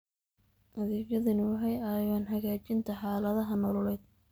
Adeegyadani waxay caawiyaan hagaajinta xaaladaha nololeed.